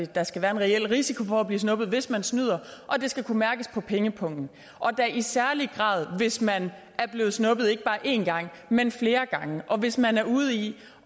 der skal være en reel risiko for at blive snuppet hvis man snyder det skal kunne mærkes på pengepungen og da i særlig grad hvis man er blevet snuppet ikke bare én gang men flere gange og hvis man er ude i